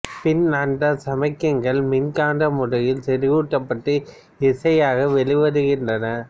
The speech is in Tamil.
பின் அந்தச் சமிக்ஞைகள் மின்காந்த முறையில் செறிவூட்டப்பட்டு இசையாக வெளிவருகின்றன